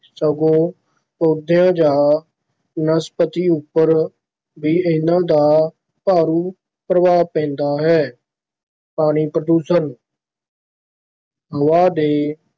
ਸਗੋਂ ਪੌਦਿਆਂ ਜਾਂ ਬਨਸਪਤੀ ਉੱਪਰ ਵੀ ਇਨ੍ਹਾਂ ਦਾ ਮਾਰੂ ਪ੍ਰਭਾਵ ਪੈਂਦਾ ਹੈ, ਪਾਣੀ ਪ੍ਰਦੂਸ਼ਣ ਹਵਾ ਦੇ